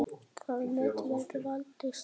Það met verður aldrei slegið.